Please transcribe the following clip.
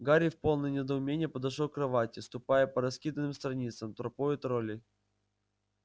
гарри в полном недоумении подошёл к кровати ступая по раскиданным страницам тропою троллей